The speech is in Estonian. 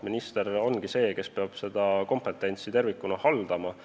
Minister ongi see, kes peab seda kompetentsi tervikuna haldama.